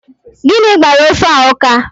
Gịnị gbara ofe a ụka?